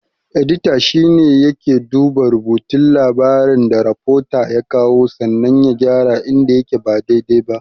Edita shine yake duba rubutun labarin da rafota ya kawo sannan ya gyara inda yake ba dai-dai ba.